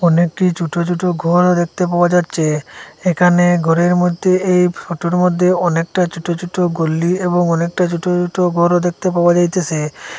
অনেকটি ছোট ছোট ঘরও দেখতে পাওয়া যাচ্ছে এখানে ঘরের মধ্যে এই ফটোর মধ্যে অনেকটা ছোট ছোট গলি এবং অনেক ছোট ছোট ঘরও দেখতে পাওয়া যাইতেসে।